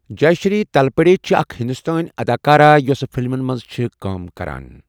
جےشری تلپڑے چھِ اَکھ ہِندوستٲنؠ اَداکارہ یۄسہ فِلمَن مَنٛز چھِ کٲم کَران.